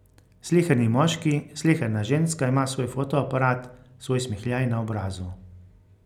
Sleherni moški, sleherna ženska ima svoj fotoaparat, svoj smehljaj na obrazu.